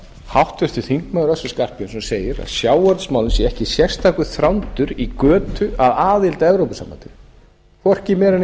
háttvirtur þingmaður össur skarphéðinsson segir að sjávarútvegsmálin séu ekki sérstakur þrándur í götu að aðild að evrópusambandinu hvorki meira